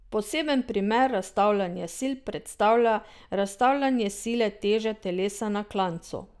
Poseben primer razstavljanja sil predstavlja razstavljanje sile teže telesa na klancu.